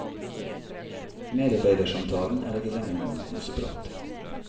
Medarbeidersamtalen er ikke lenger noen koseprat.